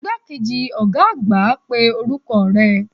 Igbakeji oga agba pe oruko re